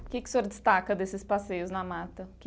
O que que o senhor destaca desses passeios na mata?